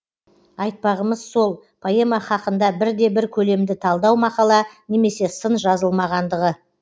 айтпағымыз сол поэма хақында бірде бір көлемді талдау мақала немесе сын жазылмағандығы